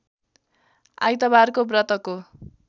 आइतबारको व्रतको